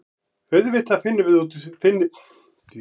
Auðvitað finnum við fyrir því.